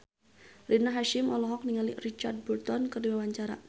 Rina Hasyim olohok ningali Richard Burton keur diwawancara